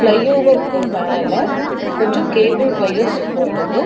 ஃப்ளைஒவருக்கு மேல கொஞ்சோ cable wires போகுது.